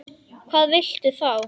Hvað viltu þá?